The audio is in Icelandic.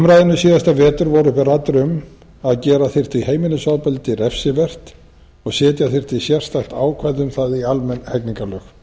umræðunni síðasta vetur voru uppi raddir um að gera þyrfti heimilisofbeldi refsivert og setja þyrfti sérstakt ákvæði bil það í almenn hegningarlög